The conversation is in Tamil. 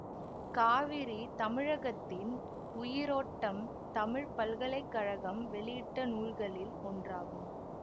காவிரி தமிழகத்தின் உயிரோட்டம் தமிழ் பல்கலை கழகம் வெளியிட்ட நூல்களில் ஒன்றாகும்